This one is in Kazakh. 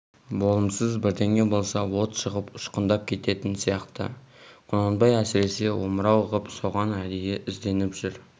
болымсыз бірдеңе болса от шығып ұшқындап кететін сияқты құнанбай әсіресе омырау ғып соған әдейі ізденіп жүр